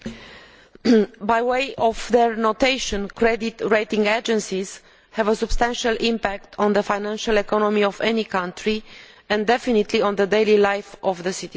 Mr President, through their notation, credit rating agencies have a substantial impact on the financial economy of any country and definitely on the daily life of citizens.